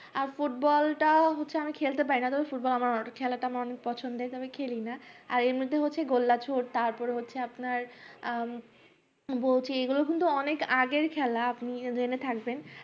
আর football তা হচ্ছে আমি খেলতে পারিনা খেলা তা আমার অনেক পছন্দের কিন্তু আমি খেলি না আর এমনি তে হচ্ছে আপনার গোল্লার ছুটে তারপর আপনার উম বলছি কিন্তু অনেক আগের খেলা আপনি জেনে থাকবেন